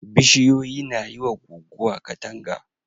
Bishiyoyi na yi wa guguwa katanga.